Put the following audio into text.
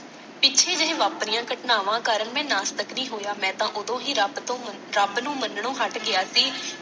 ਪਿੱਛੇ ਜਿਹੇ ਵਾਪਰੀਆਂ ਘਟਨਾਵਾਂ ਕਾਰਣ ਮੈਂ ਨਾਸਤਿਕ ਨੀ ਹੋਇਆ ਮੈਂ ਤਾਂ ਉਦੋਂ ਹੀ ਰੱਬ ਤੋਂ ਰੱਬ ਨੂੰ ਮੰਨਣੋ ਹੱਟ ਗਿਆ ਸੀ।